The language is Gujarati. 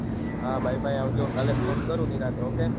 હા bye bye આવજો કાલે phone કરું નિરાતે ok